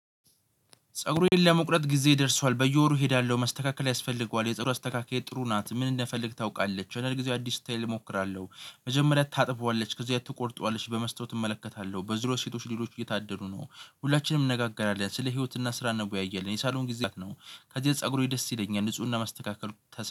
ፀጉሬን ለመቁረጥ ጊዜ ደርሷል በየወሩ እሄዳለሁ መስተካከል ያስፈልገዋል የፀጉር አስተካካይ ጥሩ ናት ምን እንደፈለግ ታውቃለች የሄደው ጊዜ አዲስ ታይል እሞክራለሁ። መጀመሪያ ታጥበዋለች ከዚህ ትቆርጠዋለች በመስታወት እመለከታለው በዙርያዪ ሴቶች ሌሎች እየታደሉ ነው ሁላችንም እንነጋገራለን ስለ ህይወትና ስራ እንወያያለን የሳሎን ነው። ከዚህ ፀጉሩ ደስ ይለኛል ንፁህና ማስተካከል